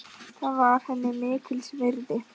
Það var henni mikils virði.